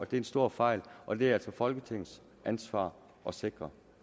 det er en stor fejl og det er altså folketingets ansvar at sikre